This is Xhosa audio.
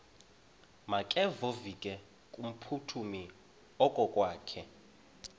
makevovike kumphuthumi okokwakhe